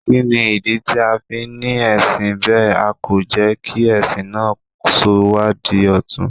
Kí ni ìdí tí a fi ní ẹ̀sìn bẹ́ẹ̀, a kò jẹ́ kí ẹ̀sìn náà sọ wá di ọ̀tun?